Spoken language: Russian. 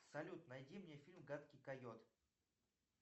салют найди мне фильм гадкий койот